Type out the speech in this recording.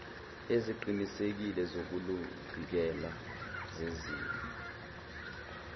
eziqinisekile zokuluvikela zenziwe